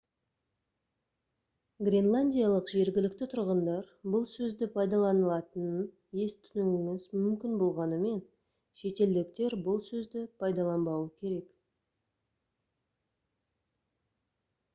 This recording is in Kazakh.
гренландиялық жергілікті тұрғындар бұл сөзді пайдаланатынын естуіңіз мүмкін болғанымен шетелдіктер бұл сөзді пайдаланбауы керек